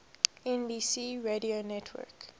nbc radio network